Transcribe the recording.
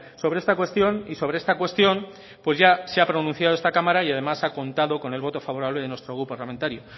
sobre esta cuestión y sobre esta cuestión pues ya se ha pronunciado esta cámara y además ha contado con el voto favorable de nuestro grupo parlamentario